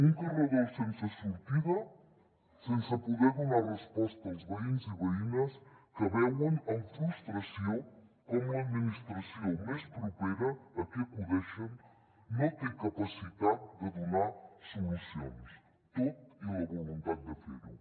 un carreró sense sortida sense poder donar resposta als veïns i veïnes que veuen amb frustració com l’administració més propera a qui acudeixen no té capacitat de donar solucions tot i la voluntat de fer ho